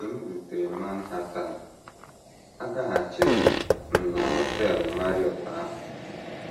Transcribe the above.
“ Mgbe m rutere Manhattan, agaghachiri m m na Họtel Marriott ahụ.